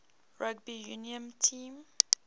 rugby union team